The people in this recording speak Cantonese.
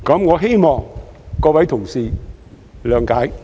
我希望各位同事諒解。